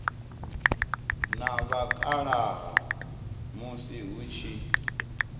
na vhakalaha musi hu tshi